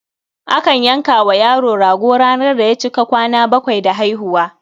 Akan yanka wa yaro rago ranar da ya cika kwana bakwai da haihuwa.